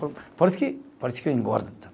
Por por isso que político engorda.